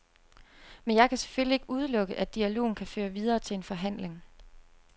Men jeg kan selvfølgelig ikke udelukke, at dialogen kan føre videre til en forhandling.